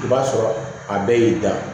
I b'a sɔrɔ a bɛɛ y'i da